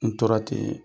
N tora ten